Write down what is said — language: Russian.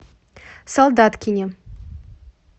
солдаткине